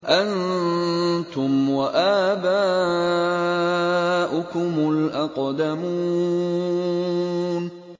أَنتُمْ وَآبَاؤُكُمُ الْأَقْدَمُونَ